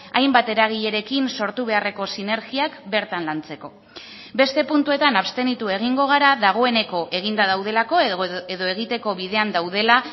hainbat eragilerekin sortu beharreko sinergiak bertan lantzeko beste puntuetan abstenitu egingo gara dagoeneko eginda daudelako edo egiteko bidean daudela